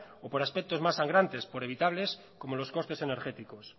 o por aspectos más sangrantes por inevitables como los costes energéticos